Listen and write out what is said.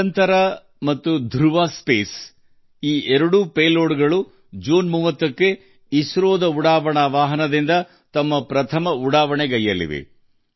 ದಿಗಂತರಾ ಮತ್ತು ಧ್ರುವ ಸ್ಪೇಸ್ ಎರಡೂ ಜೂನ್ 30 ರಂದು ಇಸ್ರೋದ ಉಡಾವಣಾ ವಾಹನದಿಂದ ತಮ್ಮ ಮೊದಲ ಉಡಾವಣೆ ಮಾಡಲಿವೆ